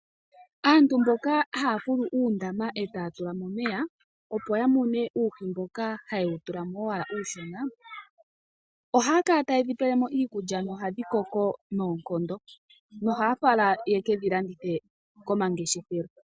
Aantu mboka haya fulu uundama etaya tulamo omeya opo ya mune uuhi mboka haye wu tulamo owala uushona, ohaya kala tayedhi pelemo iikulya nohadhi koko noonkondo, ohaya fala yekedhi landithe ko mangeshefelo.